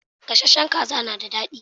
Gasashen kaza na da dadi